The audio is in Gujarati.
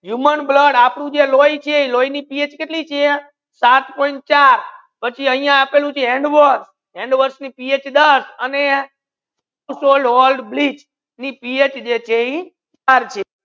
હ્યુમન બ્લડ આપડુ છે લોયી ચે લોય ની પીએચ કેતલી છે સાત pointfour પચી આહિયા આપેલુ છે hand wash hand wash ની PH કેતલી છે કે દસ અને બ્લીચ એનિ PH ચાર છે